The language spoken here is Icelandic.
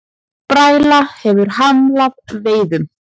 Bræla hefur hamlað veiðum